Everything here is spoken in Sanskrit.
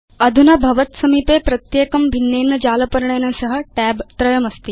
अधुना भवत् समीपे प्रत्येकं भिन्नेन जालपर्णेन सह tab त्रयमस्ति